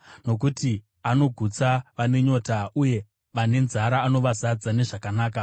nokuti anogutsa vane nyota, uye vane nzara anovazadza nezvakanaka.